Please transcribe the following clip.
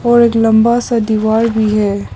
और एक लंबा सा दीवार भी है।